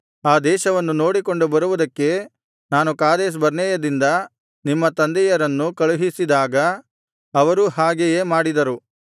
ಆ ದೇಶವನ್ನು ನೋಡಿಕೊಂಡು ಬರುವುದಕ್ಕೆ ನಾನು ಕಾದೇಶ್ ಬರ್ನೇಯದಿಂದ ನಿಮ್ಮ ತಂದೆಯರನ್ನು ಕಳುಹಿಸಿದಾಗ ಅವರೂ ಹಾಗೆಯೇ ಮಾಡಿದರು